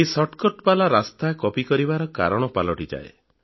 ଏହି ଶର୍ଟକଟ୍ ବାଲା ରାସ୍ତା କପି କରିବାର କାରଣ ପାଲଟିଯାଏ